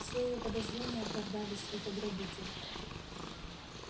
все её подозрения оправдались это грабитель